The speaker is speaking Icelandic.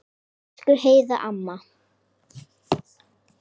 Elsku Heiða amma.